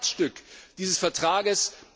Sie ist das Herzstück dieses Vertrages!